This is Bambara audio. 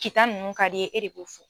Kita ninnu ka d'i ye e de b'o fɔ.